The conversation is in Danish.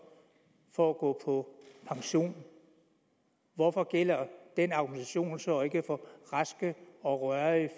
for at gå på pension hvorfor gælder den argumentation så ikke for raske og rørige